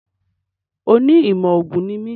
Oní ìmọ̀ ògùn ní mi